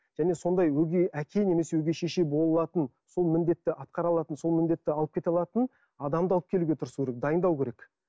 және сондай өгей әке немесе өгей шеше бола алатын сол міндетті атқара алатын сол міндетті алып кете алатын адамды алып келуге тырысу керек дайындау керек